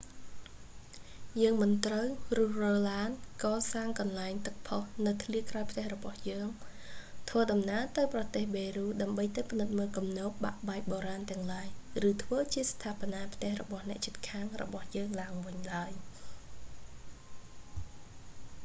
យើងមិនត្រូវរុះរើឡាន កសាងកន្លែងទឹកផុសនៅធ្លាក្រោយផ្ទះរបស់យើង ធ្វើដំណើរទៅប្រទេសប៉េរូដើម្បីទៅពិនិត្យមើលគំនរបាក់បែកបុរាណទាំងឡាយ ឬធ្វើជាស្ថាបនាផ្ទះរបស់អ្នកជិតខាងរបស់យើងឡើងវិញឡើយ